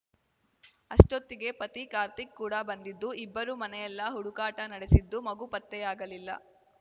ಅಷ್ಟೊತ್ತಿಗೆ ಪತಿ ಕಾರ್ತಿಕ್‌ ಕೂಡ ಬಂದಿದ್ದು ಇಬ್ಬರು ಮನೆ ಎಲ್ಲಾ ಹುಡುಕಾಟ ನಡೆಸಿದ್ದು ಮಗು ಪತ್ತೆಯಾಗಲಿಲ್ಲ